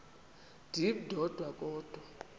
ndim ndodwa kodwa